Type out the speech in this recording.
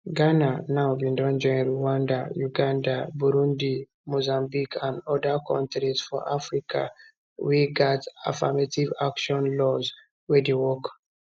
ghana now bin join rwanda uganda burundi mozambique and oda kontris for africa wey gat affirmative action laws wey dey work